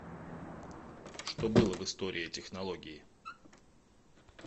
что было в история технологии